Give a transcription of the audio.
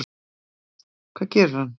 Hvað gerir hann?